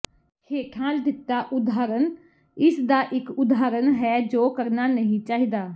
ਹੇਠਾਂ ਦਿੱਤਾ ਉਦਾਹਰਣ ਇਸਦਾ ਇੱਕ ਉਦਾਹਰਨ ਹੈ ਜੋ ਕਰਨਾ ਨਹੀਂ ਚਾਹੀਦਾ